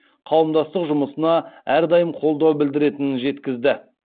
қауымдастық жұмысына әрдайым қолдау білдіретінін жеткізеді